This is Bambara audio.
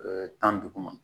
tan duguma